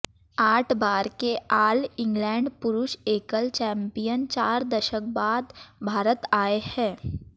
आठ बार के आल इंगलैंड पुरुष एकल चैम्पियन चार दशक बाद भारत आए हैं